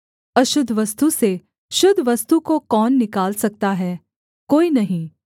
अशुद्ध वस्तु से शुद्ध वस्तु को कौन निकाल सकता है कोई नहीं